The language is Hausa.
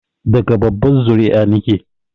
Daga babbar zuri'a nike